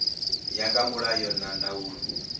ya nga mulayo na ndaulo